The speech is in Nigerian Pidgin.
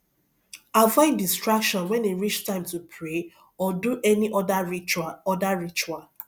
avoid distraction when e reach time to pray or do any other ritual other ritual